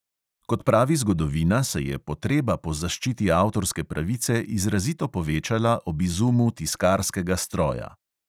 Kot pravi zgodovina, se je potreba po zaščiti avtorske pravice izrazito povečala ob izumu tiskarskega stroja.